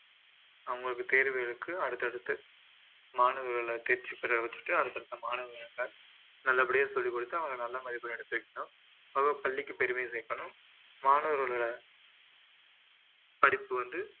அவங்களுக்கு தேர்வு இருக்கு அடுத்தடுத்து மாணவர்களை தேர்ச்சி பெற வச்சிட்டு அடுத்தடுத்த மாணவர்களை நல்லபடியா சொல்லிக்கொடுத்து அவங்க நல்ல மதிப்பெண் எடுக்க வைக்கணும் அவங்க பள்ளிக்கு பெருமை சேர்க்கணும் மாணவர்களோட படிப்பு வந்து